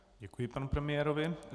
Děkuji panu premiérovi.